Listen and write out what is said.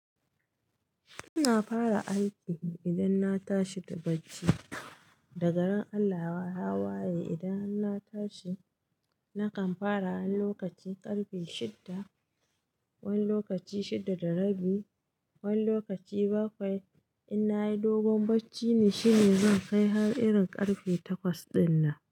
Ina fara aiki idan na tashi da bacci. Da garin Allah ya waye idan har na tashi nakan fara wani lokaci ƙarfe shidda, wani lokaci shidda da rabi, wani lokaci bakwai. In nayi dogon bacci ne shine zan kai har irin ƙarfe takwas ɗin na.